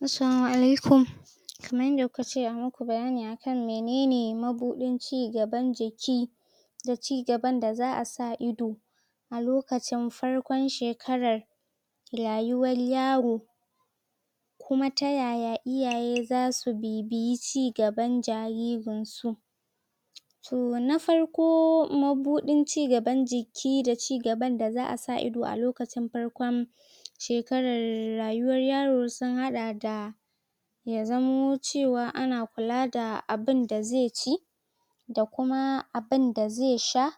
Assalama alaikum kamar yadda kuka ce ayi muku bayani akan menene mubuɗin cigaban jiki da cigaban da za'a sa ido alokacin farkon shekarar rayuwar yaro kuma ta yaya iyaye za su bibiyi ci gaban jaririn su? To na farko, mabuɗin ci gaban jiki da da cigban da za'a sa ido a lokacin farkon shekarar rayuwar yaro, sun haɗa da: Ya zamo cewa ana kula da abunda zai ci da kuma abunda zai sha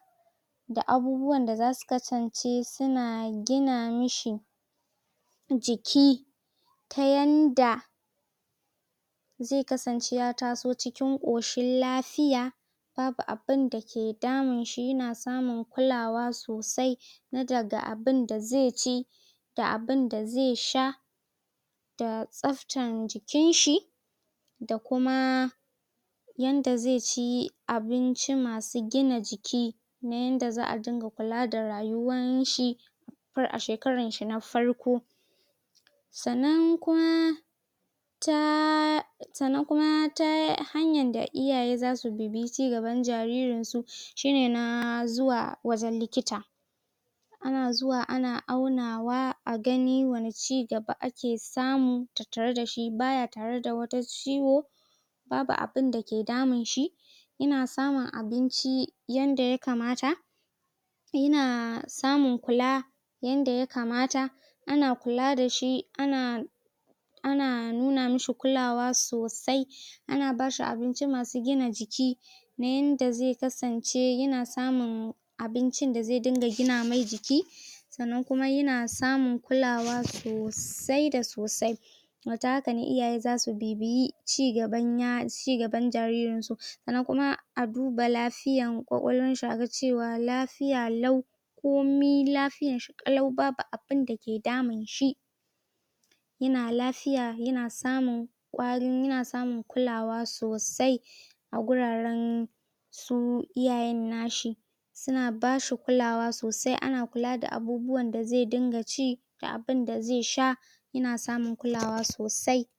da abubuwan da za su kasance suna gina mishi jiki ta yadda zai kasance ya taso cikin ƙoshin lafiya, babu abunda da ke damunsa yana samun kulawa sosai na dag abunda zai ci da abunda zai sha, da tsaftan jikinshi, da kuma yadda zai ci abincimasu gina jiki, na yadda za'a dinga kula da rayuwanshi a shekaranshi na farko, sannan kuma ta sannan kuma ta hanyar da iyaye za su bibiyi cigban jaririn su shine na zuwa wajen likita. ana zuwa ana aunawa a gani wanne ci gaba ake samu game da shi, baya tattare da wata ciwo, babu abunda ke daminshi? yana samun abinci yanda ya kamata, yana samun kula yanda ya kamata, ana kula da shi, ana ana nuna mishi kulawa sosai ana ba shi abinci masu gina jiki na yadda zai kasance ya na samun abincin da zai dinga gina mai jiki? sannan kuma yna samun kulawa sosai da sosai? To ta haka ne iyaye zasu bibiyi cigaban jaririnsu sannan kuma a duba lafiyan ƙwaƙwalwanshi aga cewa lafiya lau komikomai lafiyanshi ƙalau babu abun da ke daminshi, yana lafiya, yana samun yana samin kulawa sosai a guraren su iyayen nashi. Suna bashi kulawa sosai, ana kula da abubuwan zai dinga ci da abunda zai sha, yana samun kulaw sosai.